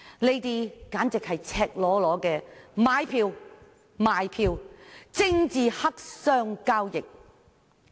這簡直是赤裸裸的買票和賣票交易，堪稱政治黑箱作業。